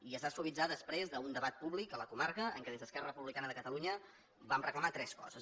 i es va suavitzar després d’un debat públic a la comarca en què des d’esquerra republicana de catalunya vam reclamar tres coses